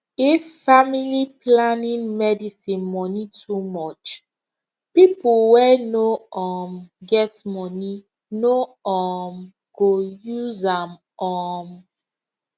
if family planning medicine money too much people wey no um get money no um go use am um